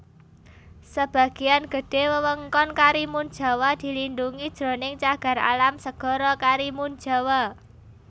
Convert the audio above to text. Sebagéan gedhé wewengkon Karimunjawa dilindhungi jroning Cagar Alam Segara Karimunjawa